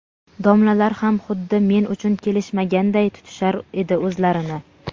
Domlalar ham xuddi men uchun kelishmaganday tutishar edi o‘zlarini.